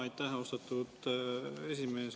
Aitäh, austatud esimees!